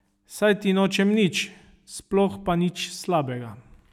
Saj ti nočem nič, sploh pa nič slabega.